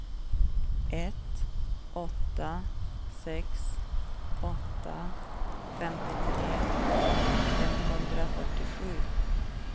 ett åtta sex åtta femtiotre femhundrafyrtiosju